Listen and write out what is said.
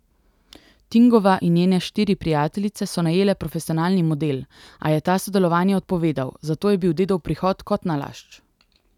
Tingova in njene štiri prijateljice so najele profesionalni model, a je ta sodelovanje odpovedal, zato je bil dedov prihod kot nalašč.